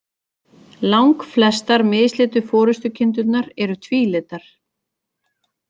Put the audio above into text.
Langflestar mislitu forystukindurnar eru tvílitar.